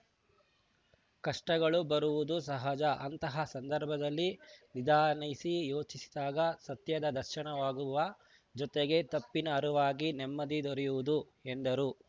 ಕಷ್ಟಗಳು ಬರುವುದು ಸಹಜ ಅಂತಹ ಸಂಧರ್ಭದಲ್ಲಿ ನಿಧಾನಿಸಿ ಯೋಚಿಸಿದಾಗ ಸತ್ಯದ ದರ್ಶನವಾಗುವ ಜೋತೆಗೆ ತಪ್ಪಿನ ಅರುವಾಗಿ ನೆಮ್ಮದಿ ದೊರೆಯುವುದು ಎಂದರು